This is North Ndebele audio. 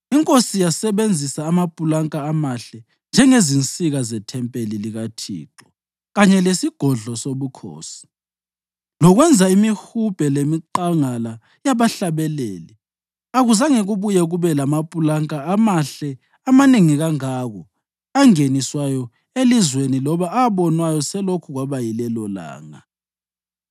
Inkosi yasebenzisa amapulanka amahle njengezinsika zethempeli likaThixo kanye lesigodlo sobukhosi, lokwenza imihubhe lemiqangala yabahlabeleli. Akuzange kubuye kube lamapulanka amahle amanengi kangako angeniswayo elizweni loba abonwayo selokhu kwaba yilelolanga.)